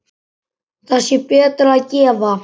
Þá sé betra að gefa.